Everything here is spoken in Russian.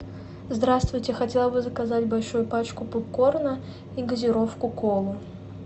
здравствуйте хотела бы заказать большую пачку попкорна и газировку кола